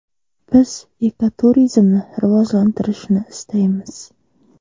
Biz ekoturizmni rivojlantirishni istaymiz.